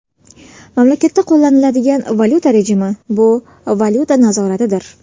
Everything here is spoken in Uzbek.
Mamlakatda qo‘llaniladigan valyuta rejimi bu valyuta nazoratidir.